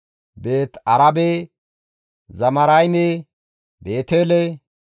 Beeti-Arabe, Zamarayme, Beetele,